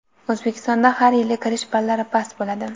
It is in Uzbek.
O‘zbekistonda har yili kirish ballari past bo‘ladi.